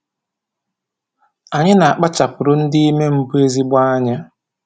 A na-akpachapụrụ ndị ime mbụ ezigbo anya